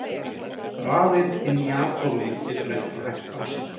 rafeind inni í atómi getur ekki hægt á sér!